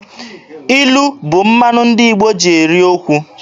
Ilu bụ mmanụ ndị Igbo ji eri okwu.